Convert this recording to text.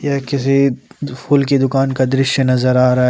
यह किसी फूल की दुकान का दृश्य नजर आ रहा है।